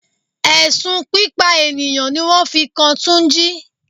Ẹ̀sùn pípa ènìyàn ní wọ́n fi kan túnjí.